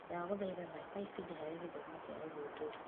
Ndagũthaitha thaka ibindi harĩ gĩthomo kĩa ũthudũri.